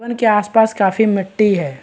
के आसपास काफी मिट्टी है।